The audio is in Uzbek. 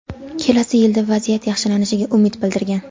kelasi yilda vaziyat yaxshilanishiga umid bildirgan.